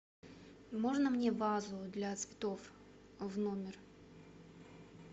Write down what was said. можно мне вазу для цветов в номер